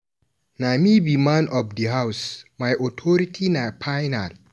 Na me be man of di house, my authority na final.